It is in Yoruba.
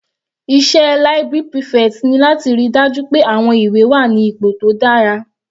Iṣẹ́ library prefect ni láti ríi dájú pé àwọn ìwé wà ní ipò tó dára.